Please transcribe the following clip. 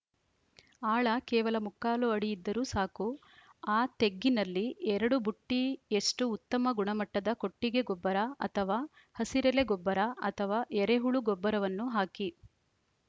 ಆಳ ಕೇವಲ ಮುಕ್ಕಾಲು ಅಡಿ ಇದ್ದರೂ ಸಾಕು ಆ ತೆಗ್ಗಿನಲ್ಲಿ ಎರಡು ಬುಟ್ಟಿಯಷ್ಟುಉತ್ತಮ ಗುಣಮಟ್ಟದ ಕೊಟ್ಟಿಗೆ ಗೊಬ್ಬರ ಅಥವಾ ಹಸಿರೆಲೆ ಗೊಬ್ಬರ ಅಥವಾ ಎರೆಹುಳು ಗೊಬ್ಬರವನ್ನು ಹಾಕಿ